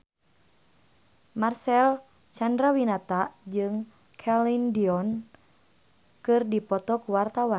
Marcel Chandrawinata jeung Celine Dion keur dipoto ku wartawan